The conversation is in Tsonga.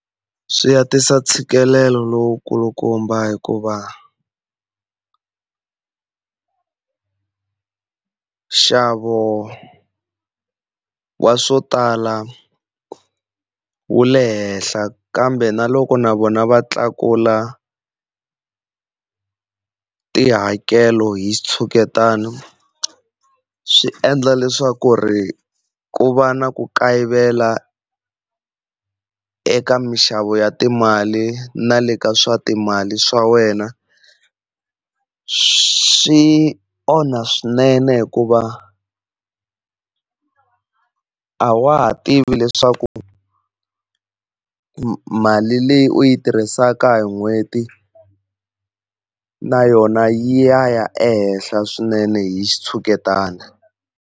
Swi ya tisa ntshikelelo lowu kulukumba hikuva nxavo wa swo tala wu le henhla, kambe na loko na vona va tlakula tihakelo hi xitshuketano swi endla leswaku ku va na ku kayivela eka mixavo ya timali na le ka swa timali swa wena. Swi onha swinene hikuva a a wa ha tivi leswaku mali leyi u yi tirhisaka hi n'hweti na yona yi ya ya ehenhla swinene hi xitshuketana.